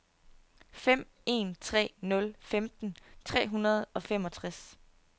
fem en tre nul femten tre hundrede og femogtres